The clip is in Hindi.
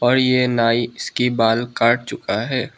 और ये नाई इसकी बाल काट चुका है।